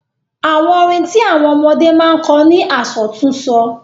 Àwọn orin tí àwọn ọmọdé máa ń kọ ni àsọtúnsọ.